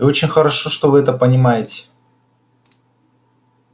и очень хорошо что вы это понимаете